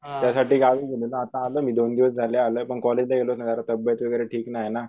त्यासाठी गावी गेलेलो आता आलो मी दोन दिवस झाले आलोय पण कॉलेजला गेलोच नाही अरे तब्बेत वैगरे ठीक नाहीये ना.